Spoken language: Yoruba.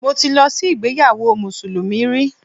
Mo ti lọ sí ìgbéyawó mùsùlùmí rí